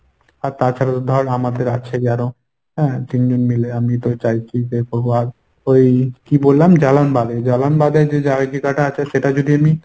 আর তাছাড়া তো ধর আমাদের আছেই আরো হ্যাঁ তিনজন মিলে আমি আর ওই কী বললাম? জালানবাদে, জালানবাদে যে জায়গাটা আছে সেটা যদি আমি